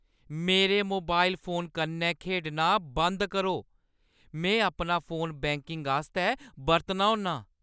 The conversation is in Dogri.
मेरे मोबाइल फोन कन्नै खेढना बंद करो। में अपना फोन बैंकिंग आस्तै बरतना होन्नां।